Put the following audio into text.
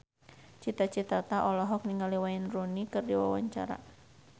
Cita Citata olohok ningali Wayne Rooney keur diwawancara